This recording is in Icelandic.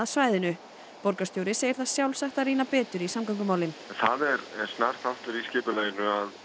svæðinu borgarstjóri segir það sjálfsagt að rýna betur í samgöngumálin það er snar þáttur í skipulaginu